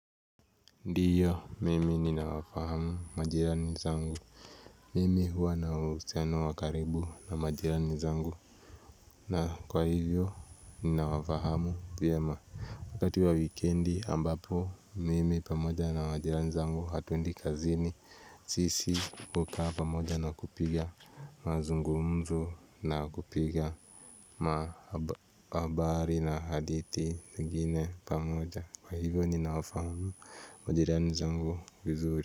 Ndiyo mimi ninawafahamu majirani zangu mimi huwa na uhusiano wa karibu na majirani zangu na kwa hivyo ninawafahamu vyema wakati wa wikendi ambapo mimi pamoja na majirani zangu hatuendi kazini sisi hukaa pamoja na kupiga mazungumzo na kupiga ma habari na hadithi zingine pamoja kwa hivyo ninawafahamu majirani zangu vizuri.